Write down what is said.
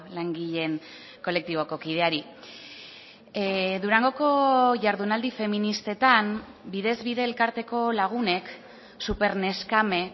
langileen kolektiboko kideari durangoko jardunaldi feministetan bidez bide elkarteko lagunek superneskame